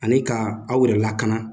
Ani ka aw yɛrɛ lakana